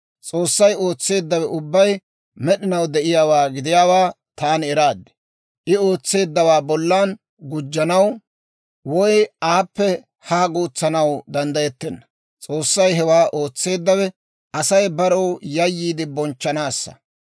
S'oossay ootseeddawe ubbay med'inaw de'iyaawaa gidiyaawaa taani eraad; I ootseeddawaa bollan gujjanaw woy aappe haa guutsanaw danddayettenna. S'oossay hewaa ootseeddawe, Asay barew yayyiide bonchchanaassa.